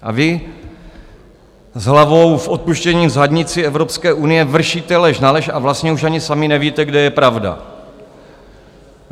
A vy, s hlavou s odpuštěním v zadnici Evropské unie, vršíte lež na lež a vlastně už ani sami nevíte, kde je pravda.